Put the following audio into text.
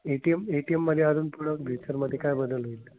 ATMATM मधे अजून पुढं future मधे काय बदल होईल?